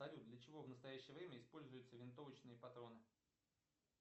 салют для чего в настоящее время используются винтовочные патроны